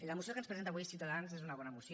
la moció que ens presenta avui ciutadans és una bona moció